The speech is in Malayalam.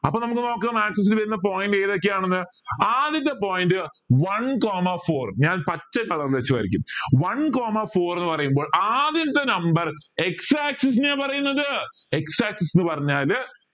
അപ്പൊ നമുക്ക് നോക്കാ axis ൽ വരുന്ന point ഏതൊക്കെയാണ് എന്ന് ആദ്യത്തെ point one coma four ഞാൻ പച്ച colour വച്ച് വരയ്ക്കും one coma four എന്ന് പറയുമ്പോൾ ആദ്യത്തെ number x axis നെയ പറയുന്നത് x axis എന്ന്പറഞ്ഞാൽ